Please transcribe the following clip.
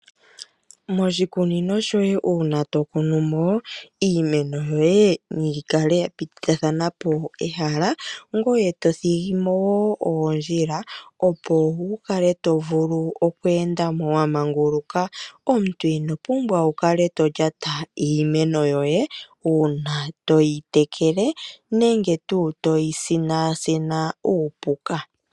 Moshikunino shoye uuna to kunumo, iimeno yoye nayi kale ya tithathana po ehala, ngoye to thigimo woo oondjila, opo wukale to vulu oku endamo wa manguluka, omuntu ino pimbwa oku kala to lyata iimeno yoye uuna toyi tekele nenge tuu toyi sinasina uupuka.